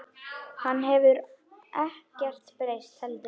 Hann hefur ekkert breyst heldur.